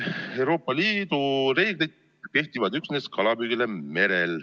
Euroopa Liidu reeglid kehtivad üksnes kalapüügile merel.